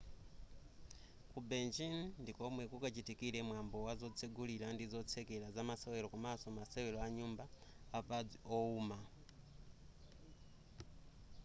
ku beijin ndikomwe kukachitikire mwambo wa zotsegulira ndi zotsekera zamasewera komaso masewero anyumba apadzi owuma